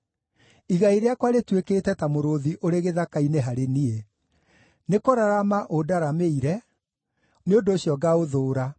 Igai rĩakwa rĩtuĩkĩte ta mũrũũthi ũrĩ gĩthaka-inĩ harĩ niĩ. Nĩkũrarama ũndaramĩire, nĩ ũndũ ũcio ngaũthũũra.